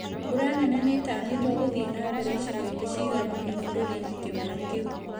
Mbura nene nĩtanyĩtwo gũthiĩ na mbere icigo-inĩ cigana ũna bũrũri-inĩ kĩmera kĩu